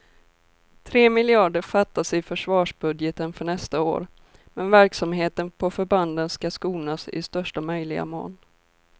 Tre miljarder fattas i försvarsbudgeten för nästa år, men verksamheten på förbanden ska skonas i största möjliga mån.